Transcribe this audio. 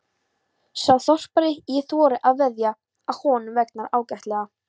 Sá þorpari: ég þori að veðja að honum vegnar ágætlega.